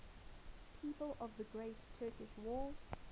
people of the great turkish war